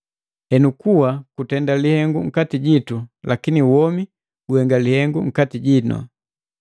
Henu, kuwa kutenda lihengu nkati jitu, lakini womi guhenga lihengu nkati jinu.